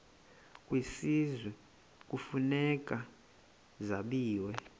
kwisizwe kufuneka zabiwe